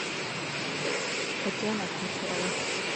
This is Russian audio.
татьяна кучерова